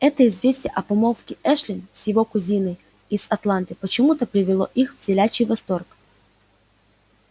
это известие о помолвке эшли с его кузиной из атланты почему-то привело их в телячий восторг